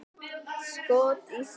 Skot í slá!